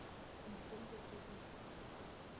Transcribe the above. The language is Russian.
смотреть закрытая школа